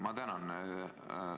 Ma tänan!